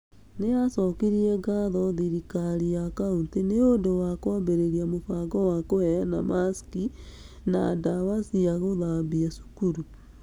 Nĩ acokirie ngatho thirikari ya county nĩ ũndũ wa kwambĩrĩria mũbango wa kũheana masiki na ndawa cia gũthambia cukuru.